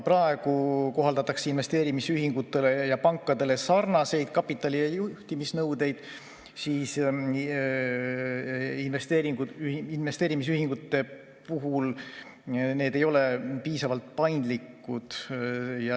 Praegu kohaldatakse investeerimisühingutele ja pankadele sarnaseid kapitali‑ ja juhtimisnõudeid, aga investeerimisühingute puhul ei ole need piisavalt paindlikud.